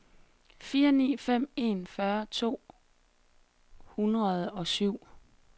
fire ni fem en fyrre to hundrede og syv